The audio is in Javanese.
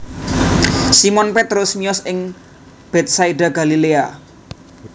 Simon Petrus miyos ing Betsaida Galilea